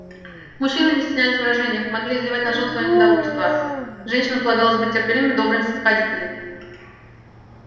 мужчины не стеснялись в выражениях могли изливать на жён своё недовольство женщинам полагалось быть терпеливыми добрыми и снисходительными